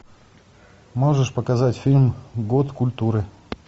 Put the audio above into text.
можешь показать фильм год культуры